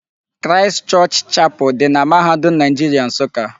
Christ Church Chapel dị na mahadum Naịjiria Nsụka.